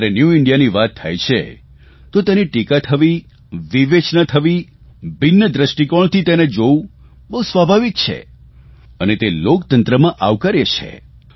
જયારે ન્યુ ઇન્ડિયાની વાત થાય છે તો તેની ટીકા થવી વિવેચના થવી ભિન્ન દ્રષ્ટિકોણથી તેને જોવું બહુ સ્વાભાવિક છે અને તે લોકતંત્રમાં આવકાર્ય છે